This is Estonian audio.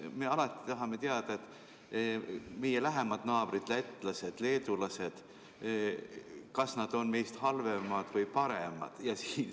Me tahame alati teada, kas meie lähemad naabrid lätlased ja leedulased on meist halvemad või paremad.